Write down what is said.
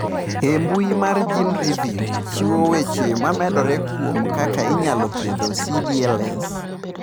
E mbui mar GeneReviews chiwo weche momedore kuom kaka inyalo thiedh CdLS.